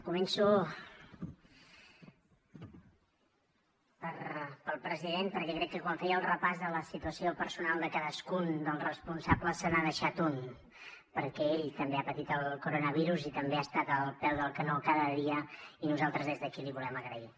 començo pel president perquè crec que quan feia el repàs de la situació personal de cadascun dels responsables se n’ha deixat un perquè ell també ha patit el coronavirus i també ha estat al peu del canó cada dia i nosaltres des d’aquí l’hi volem agrair